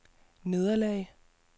nederlag